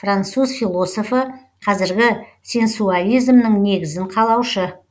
этьенн бонно де кондиьляк француз философы қазіргі сенсуализмнің негізін қалаушы